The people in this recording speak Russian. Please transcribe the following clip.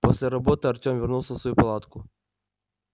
после работы артём вернулся в свою палатку